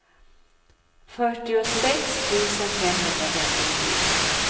fyrtiosex tusen femhundrafemtiofyra